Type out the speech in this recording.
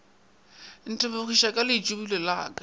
ntebogiša ka leitšibulo la ka